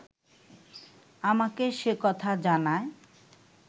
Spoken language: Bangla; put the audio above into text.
আমাকে সে কথা জানায়